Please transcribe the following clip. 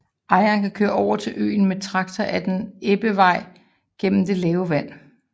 Ejerne kan køre over til øen med traktor ad en ebbevej gennem det lave vand